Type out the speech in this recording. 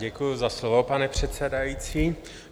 Děkuji za slovo, pane předsedající.